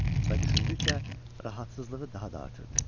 Və düşündükcə narahatlığı daha da artırdı.